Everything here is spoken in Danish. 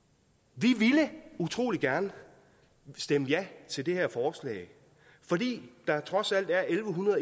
vi ville utrolig gerne stemme ja til det her forslag fordi der trods alt er elleve